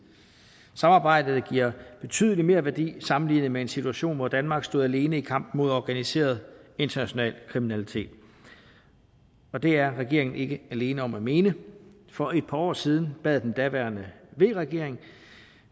samarbejdet giver betydelig merværdi sammenlignet med en situation hvor danmark stod alene i kampen mod organiseret international kriminalitet og det er regeringen ikke alene om at mene for et par år siden bad den daværende v regering